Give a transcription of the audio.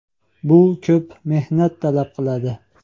Bu ko‘p mehnat talab qiladi.